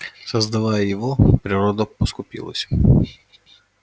создавая его природа поскупилась